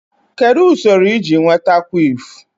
Kedu usoro iji nweta quiff?